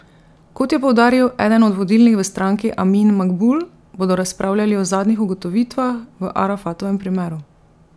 Kot je poudaril eden od vodilnih v stranki Amin Makbul, bodo razpravljali o zadnjih ugotovitvah v Arafatovem primeru.